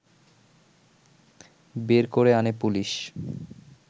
বের করে আনে পুলিশ